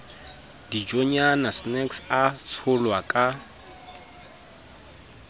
dijonyana snacks a tsholwa ka